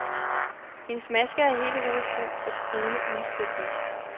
Hendes maske har hele hovedet fuld af brune uldfletninger.